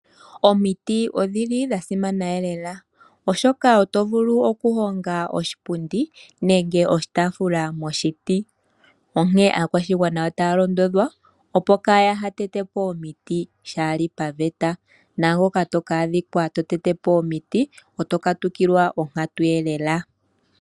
Omiti odhili dha simana lela, oshoka oto vulu oku honga oshipundi nenge oshitafula moshiti. Onke aakwashigwana otaya londodhwa, opo kaya ha tete po omiti shaali pavete, naangoka to ka adhikwa to tete po omiti, oto katukilwa onkatu lela.